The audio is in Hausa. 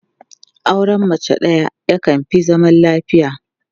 Auren mace ɗaya yakan fi zaman lafiya.